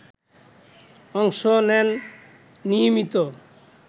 অংশ নেন নিয়মিত